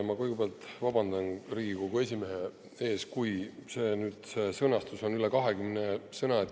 Ma kõigepealt vabandan Riigikogu esimehe ees, et on üle 20 sõna.